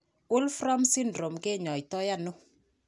Wolfram syndrome kinyoitaiano?